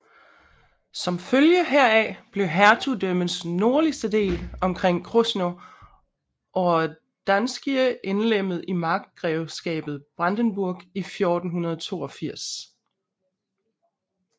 Som følge heraf blev hertugdømmets nordligste del omkring Krosno Odrzańskie indlemmet i markgrevskabet Brandenburg i 1482